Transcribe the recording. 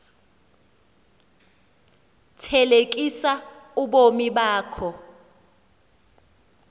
thelekisa ubomi bakho